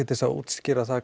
til að útskýra það